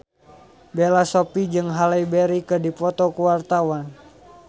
Bella Shofie jeung Halle Berry keur dipoto ku wartawan